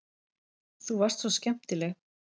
Þú varst svo skemmtileg.